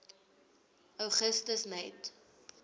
augustus net